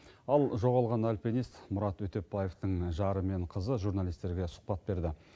ал жоғалған альпинист мұрат өтепбаевтың жары мен қызы журналистерге сұхбат берді